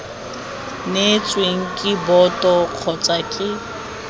neetsweng ke boto kgotsa ke